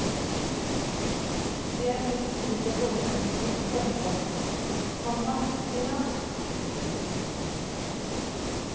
Det er blitt slik jeg både ønsket og drømte om, komma sier han. punktum